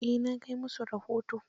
Eh na kai musu rahoton.